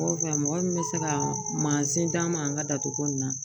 Ɔ mɔgɔ min bɛ se ka mansin d'an ma an ka datugu ko nin na